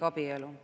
Jaak Valge, palun!